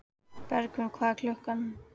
Bergvin, hvað er klukkan?